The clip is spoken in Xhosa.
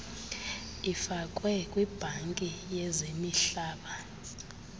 ifakwe kwibhanki yezimihlaba